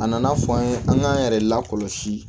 A nana fɔ an ye an k'an yɛrɛ lakɔlɔsi